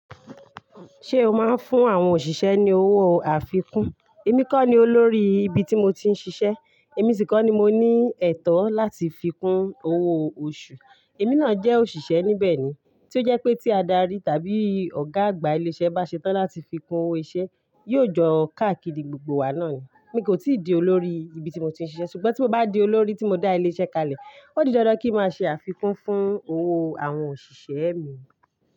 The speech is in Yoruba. Ṣé o máa ń fún àwọn òṣìṣẹ́ ní owó àfikún? Èmi kọ́ ni olórí ibi tí mo ti ń ṣiṣẹ́, èmi sì kọ́ ni mo ní ẹ̀tọ́ láti fi kún owó oṣù. Èmi náà jẹ́ òṣìṣẹ́ níbẹ̀ ni, tí ó jẹ́ pé tí adarí tàbí ọ̀gá àgbà ilé iṣẹ́ bá ṣe tán láti fi kún owó iṣẹ́, yóò jọ káàkiri gbogbo wa náà ni. Èmi gán o ti di olórí ibi tí mo ti n sise, ṣugbọn ti n ba di olórí ti mo da ile iṣẹ kalẹ o di dandan ki máa se àfikún fún ọwọ awọn oṣiṣẹ mi.